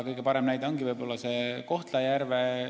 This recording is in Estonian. Kõige parem näide on võib-olla Kohtla-Järve.